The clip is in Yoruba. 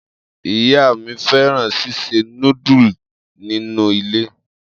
Iya mi fẹran sise nudulu ninu ile.